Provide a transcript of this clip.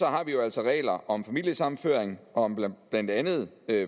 har vi jo altså regler om familiesammenføring og om blandt blandt andet